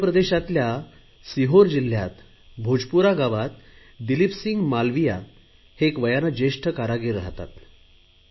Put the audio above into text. मध्य प्रदेशातल्या सिहोर जिल्हयात भोजपुरा गावात दिलीपसिंह मालविया हे एक वयाने ज्येष्ठ कारागीर राहतात